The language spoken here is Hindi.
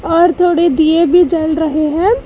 और थोड़ी दिए भी जल रहे हैं।